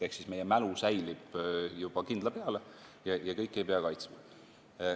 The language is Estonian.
Ehk meie mälu säilib juba kindla peale ja kõiki objekte ei pea kaitsma.